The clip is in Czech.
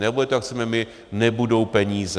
Nebude to, jak chceme my, nebudou peníze.